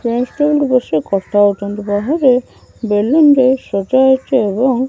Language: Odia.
ଗେଷ୍ଟ କିନ୍ତୁ ବସି କଥା ହଉଚନ୍ତି ବାହାରେ ବେଲୁନ ରେ ସଜା ହେଇଚି ଏବଂ --